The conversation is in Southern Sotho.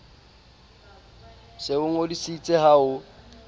se o ngodisitse ha ho